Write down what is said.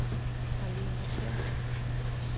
Marlene Persson